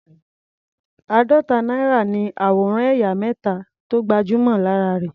Àádọ́ta náírà ní àwòrán ẹ̀yà mẹ́ta tó gbajúmọ̀ lára rẹ̀.